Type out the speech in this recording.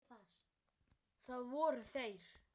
Það voru þeir